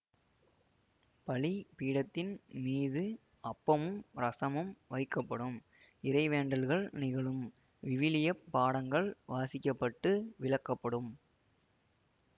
பலிபீடத்தின் மீது அப்பமும் இரசமும் வைக்கப்படும் இறைவேண்டல்கள் நிகழும் விவிலிய பாடங்கள் வாசிக்கப்பட்டு விளக்கப்படும்